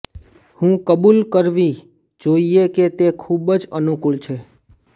હું કબૂલ કરવી જોઈએ કે તે ખૂબ જ અનુકૂળ છે